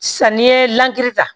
Sanni ye ta